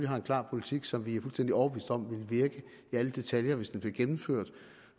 har en klar politik som vi er fuldstændig overbevist om ville virke i alle detaljer hvis den blev gennemført